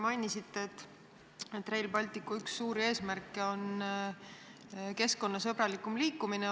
Mainisite, et Rail Balticu üks suuri eesmärke on keskkonnasõbralikum liiklemine.